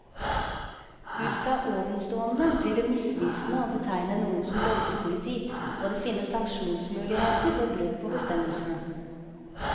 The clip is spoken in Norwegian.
Ut fra ovenstående blir det misvisende å betegne noen som røykepoliti, og det finnes sanksjonsmuligheter ved brudd på bestemmelsene.